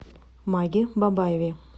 маге бабаеве